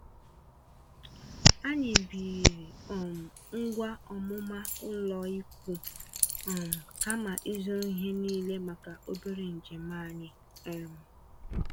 Anyị biiri um ngwa ọmụma ụlọikwuu, um kama ịzụrụ ihe niile maka obere njem anyị. um